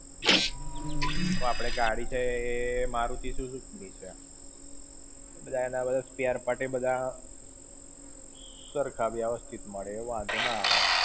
હવે આપણે ગાડી છે એ Maruti Suzuki ની છે. બધા એના spare-part એ બધા, સરખા વ્યવસ્થિત મળે, એ વાંધો ના આવે.